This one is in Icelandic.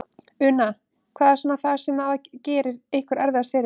Una: Hvað er svona það sem að gerir ykkur erfiðast fyrir?